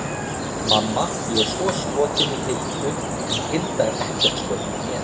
Mamma, ég er svo skotinn í Hildu en Hilda er ekkert skotin í mér!